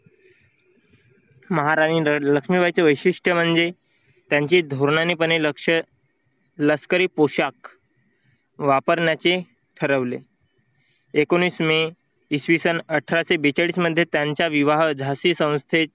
महाराणी लक्ष्मीची वैशिष्ट्य म्हणजे त्यांची धोरणाने पणे लक्ष लष्करी पोशाख वापरण्याचे ठरवले. एकोणीस मे इसवीसन अठराशे बेचाळीस मध्ये त्यांच्या विवाह झाशी संस्थेत